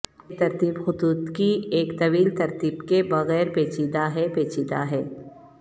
بے ترتیب خطوط کی ایک طویل ترتیب کے بغیر پیچیدہ ہے پیچیدہ ہے